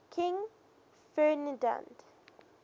king ferdinand